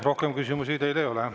Rohkem küsimusi teile ei ole.